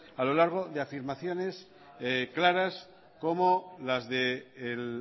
a lo largo de afirmaciones claras como las del